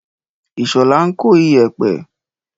Ìṣọ̀lá ń kó iyẹ̀pẹ̀.